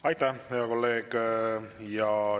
Aitäh, hea kolleeg!